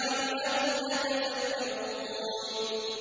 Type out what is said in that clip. لَعَلَّهُمْ يَتَفَكَّرُونَ